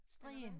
Strien